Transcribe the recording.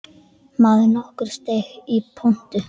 Maður nokkur steig í pontu.